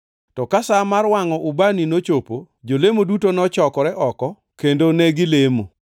To ka sa mar wangʼo ubani nochopo, jolemo duto nochokore oko kendo negilamo.